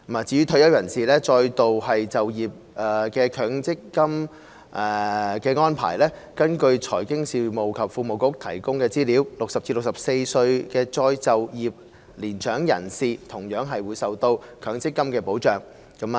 至於退休人士再度就業的強制性公積金安排，根據財經事務及庫務局提供的資料 ，60 至64歲的再就業年長人士同樣受到強積金的保障。